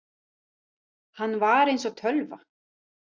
Hann var eins og tölva.